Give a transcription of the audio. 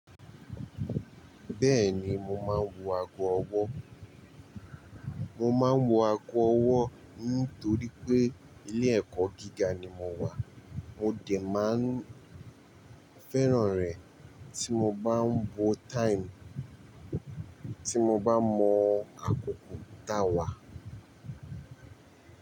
Bẹ́ẹ̀ni mo máa ń wo ago ọwọ́. Mo máa ń wo ago ọwọ́ nítorí pé ilé ẹ̀kọ́ gíga ni mo wà. Mo dè máa ń féràn rẹ̀ tí mo bá ń wo time, tí mo bá mọ àkókò táwà.